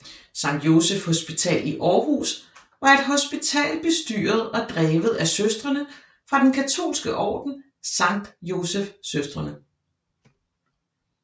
Sankt Joseph Hospital i Aarhus var et hospital bestyret og drevet af Søstrene fra den katolske orden Sankt Joseph Søstrene